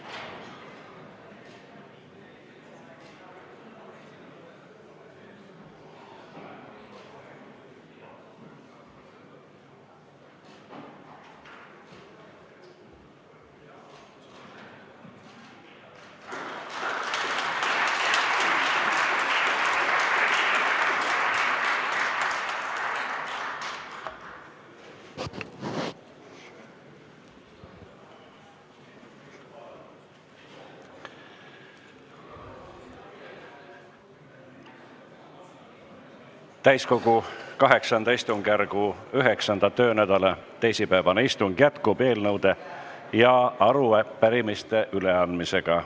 Täiskogu VIII istungjärgu 9. töönädala teisipäevane istung jätkub eelnõude ja arupärimiste üleandmisega.